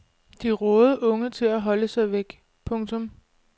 De rådede unge til at holde sig væk. punktum